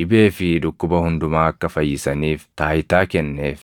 dhibee fi dhukkuba hundumaa akka fayyisaniif taayitaa kenneef.